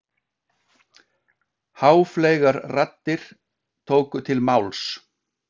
Háfleygar raddir tóku til máls.